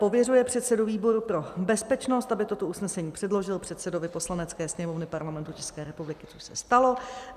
Pověřuje předsedu výboru pro bezpečnost, aby toto usnesení předložil předsedovi Poslanecké sněmovny Parlamentu České republiky - což se stalo.